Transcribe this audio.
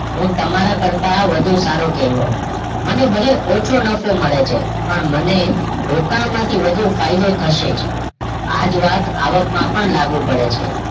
હું તમારા કરતાં વધુ સારું કહેવાવું મને ભલે ઓછો નફો મળે છે પણ મને રોકાણમાંથી વધુ ફાયદો થશે જ આ વાત આવકમાં પણ લાગુ પડે છે